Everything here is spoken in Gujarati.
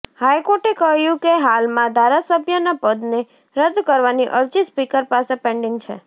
હાઈકોર્ટે કહ્યું કે હાલમાં ધારાસભ્યના પદને રદ કરવાની અરજી સ્પીકર પાસે પેન્ડિંગ છે